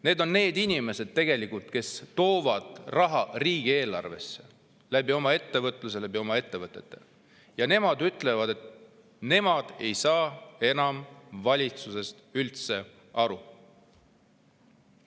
Need on tegelikult inimesed, kes toovad ettevõtluse, oma ettevõtete kaudu riigieelarvesse raha, ja nad ütlevad, et nad ei saa enam valitsusest üldse aru.